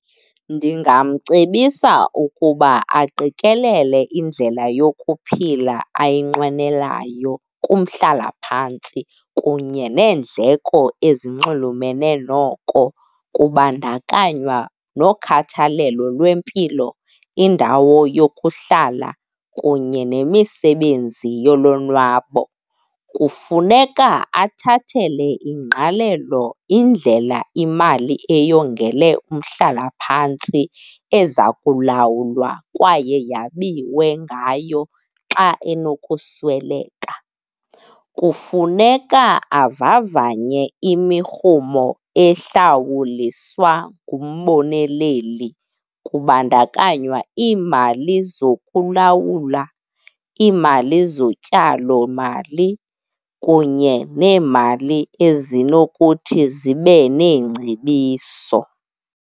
Ndingamcebisa ukuba aqikelele indlela yokuphila ayinqwenelayo kumhlalaphantsi kunye neendleko ezinxulumene noko kubandakanywa nokhathalelo lwempilo, indawo yokuhlala kunye nemisebenzi yolonwabo. Kufuneka athathele ingqalelo indlela imali eyongele umhlalaphantsi eza kulawulwa kwaye yabiwa ngayo xa enokusweleka. Kufuneka avavanye imirhumo ehlawuliswa ngumboneleli, kubandakanywa iimali zokulawula, iimali zotyalomali kunye neemali ezinokuthi zibe neengcebiso.